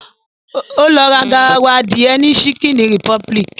Ó lọ ra garawa adìẹ ni chicken republic